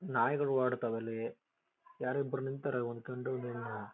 ನಾಯಿಗಳು ಓಡಾಡ್ತಗಳವೇ ಇಲ್ಲಿ. ಯಾರೋ ಒಬ್ರು ನಿಂತವರೇ ಒಂದ್ ಗಂಡು ಒಂದ್ ಹೆಣ್ಣು--